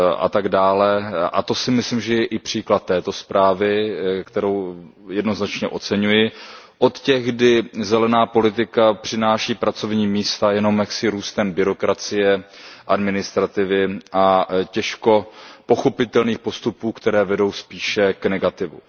a to si myslím, že je i příklad této zprávy, kterou jednoznačně oceňuji, od těch, kdy zelená politika přináší pracovní místa jenom jaksi růstem byrokracie, administrativy a těžko pochopitelných postupů, které vedou spíše k negativu.